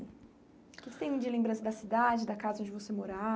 O que você tem de lembrança da cidade, da casa onde você